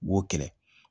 Wo kɛlɛ